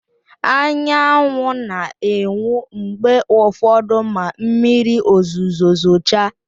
Anyanwụ na-enwu mgbe ụfọdụ ma mmiri ozuzo zochaa